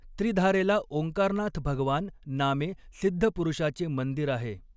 त्रिधारेला ओंकारनाथ भगवान नामे सिद्धपुरुषाचे मंदिर आहे.